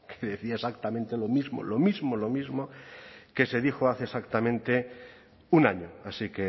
que decía exactamente lo mismo lo mismo lo mismo que se dijo hace exactamente un año así